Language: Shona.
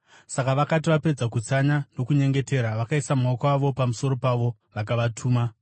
Saka vakati vapedza kutsanya nokunyengetera, vakaisa maoko avo pamusoro pavo vakavatuma.